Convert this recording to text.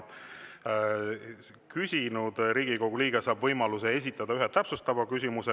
Küsinud Riigikogu liige saab võimaluse esitada ühe täpsustava küsimuse.